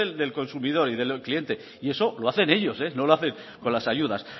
del consumidor y del cliente y eso lo hacen ellos no lo hacen con las ayudas